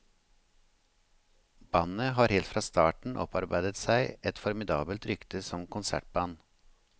Bandet har helt fra starten opparbeidet seg et formidabelt rykte som konsertband.